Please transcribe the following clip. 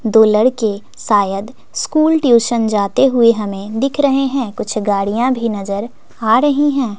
दो लड़के शायद स्कूल ट्यूशन जाते हुए हमें दिख रहें हैं कुछ गाड़ियां भी नजर आ रहीं हैं।